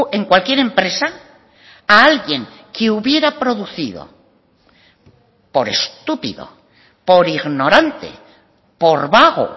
en cualquier empresa a alguien que hubiera producido por estúpido por ignorante por vago